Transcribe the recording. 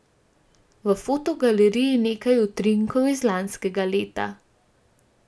V fotogaleriji nekaj utrinkov iz lanskega leta.